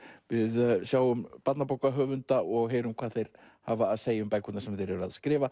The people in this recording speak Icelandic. við sjáum barnabókahöfunda og heyrum hvað þeir hafa að segja um bækurnar sem þeir eru að skrifa